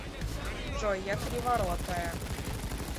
джой я криворотая